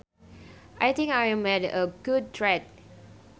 I think I made a good trade